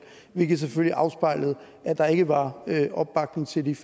hvilket selvfølgelig afspejlede at der ikke var opbakning til det